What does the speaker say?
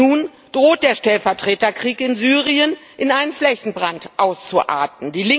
Nun droht der Stellvertreterkrieg in Syrien in einen Flächenbrand auszuarten.